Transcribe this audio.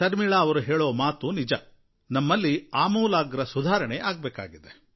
ಶರ್ಮಿಳಾ ಅವರು ಹೇಳೋ ಮಾತು ನಿಜ ನಮ್ಮಲ್ಲಿ ಆಮೂಲಾಗ್ರ ಸುಧಾರಣೆ ಆಗಬೇಕಾಗಿದೆ